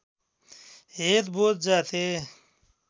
head बोध जाते